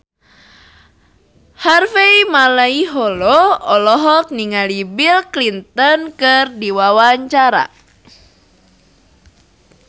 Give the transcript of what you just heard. Harvey Malaiholo olohok ningali Bill Clinton keur diwawancara